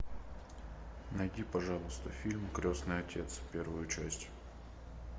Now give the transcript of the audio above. найди пожалуйста фильм крестный отец первую часть